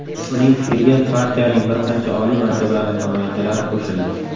Uning fikriga partiyaning bir qancha oliy martabali namoyandalari qo‘shildi.